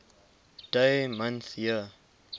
dd mm yyyy